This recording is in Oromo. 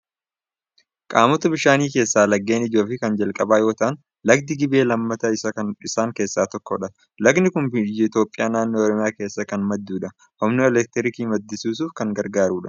Qaamota bishaanii keessaa laggeen ijoo fi kan jalqabaa yoo ta'an, lagdi Gibee lammataa isaan keessaa tokkodha. Lagni kun biyya Itoophiyaa naannoo Oromiyaa keessaa kan maddudha. Humna elektirikii maddisiisuuf kan gargaarudha.